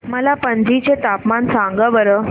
मला पणजी चे तापमान सांगा बरं